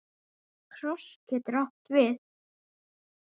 Kross getur átt við